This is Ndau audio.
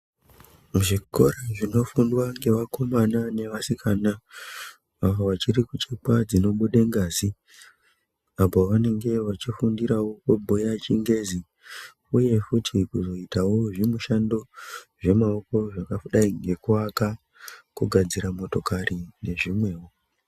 Zvikora zvinofundwa ngevakomana nevasikana avo vachiri kuchekwa dzinobude ngazi, apo vanenge vachifundirawo kubhuya ChiNgezi uye futi kuzoitawo zvimushando zvemaoko zvakadai ngekuaka, kugadzira motokari nezvimwewo.